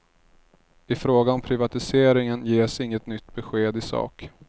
I fråga om privatiseringen ges inget nytt besked i sak.